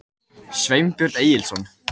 Sveinbjörn Egilsson.